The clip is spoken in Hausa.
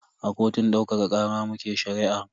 A kotun daukaka kara muke shari'ar.